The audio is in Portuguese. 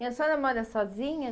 E a senhora mora sozinha?